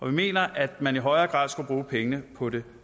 vi mener at man i højere grad skulle bruge pengene på det